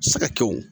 Siga kɛw